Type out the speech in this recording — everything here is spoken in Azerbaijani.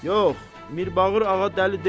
Yox, Mirbağır ağa dəli deyil.